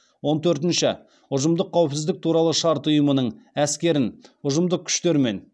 он төртінші ұжымдық қауіпсіздік туралы шарт ұйымының әскерін